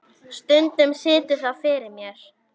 Stundum situr það fyrir mér.